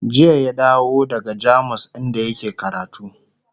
jiya ya dawo daga jamus inda yake karatu